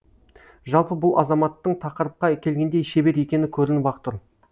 жалпы бұл азаматтың тақырыпқа келгенде шебер екені көрініп ақ тұр